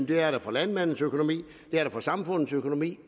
det er det for landmændenes økonomi det er det for samfundets økonomi